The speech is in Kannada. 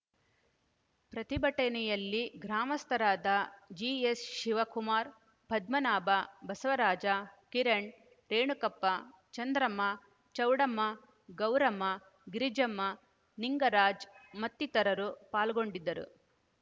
ಪ್ರತಿಭಟನೆಯಲ್ಲಿ ಗ್ರಾಮಸ್ಥರಾದ ಜಿಎಸ್‌ಶಿವಕುಮಾರ್‌ ಪದ್ಮನಾಭ ಬಸವರಾಜ ಕಿರಣ್‌ ರೇಣುಕಪ್ಪ ಚಂದ್ರಮ್ಮ ಚೌಡಮ್ಮ ಗೌರಮ್ಮ ಗಿರಿಜಮ್ಮ ನಿಂಗರಾಜ್‌ ಮತ್ತಿತರರು ಪಾಲ್ಗೊಂಡಿದ್ದರು